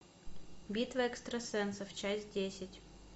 битва экстрасенсов часть десять